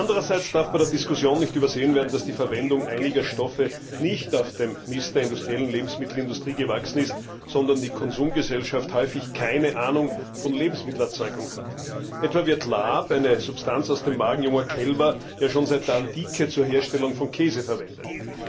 Andererseits darf bei der Diskussion nicht übersehen werden, dass die Verwendung einiger Stoffe nicht auf dem Mist der industriellen Lebensmittelindustrie gewachsen ist, sondern die Konsumgesellschaft häufig keine Ahnung von Lebensmittelerzeugung hat. Etwa wird Lab, eine Substanz aus dem Magen junger Kälber, ja schon seit der Antike zur Herstellung von Käse verwendet.